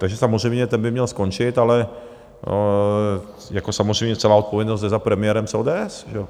Takže samozřejmě ten by měl skončit, ale jako samozřejmě celá odpovědnost jde za premiérem z ODS, že jo?